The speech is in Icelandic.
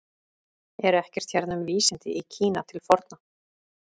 Er ekkert hérna um vísindi í Kína til forna?